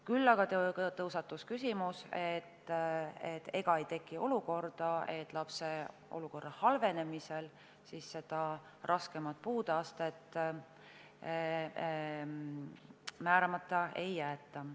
Küll aga tõusetus küsimus, et ega ei teki olukorda, kus lapse olukorra halvenemise korral raskemat puudeastet määramata ei jäeta.